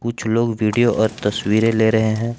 कुछ लोग वीडियो और तस्वीरें ले रहे हैं।